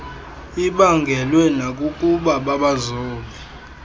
ibaangelwe nakukuba babazobe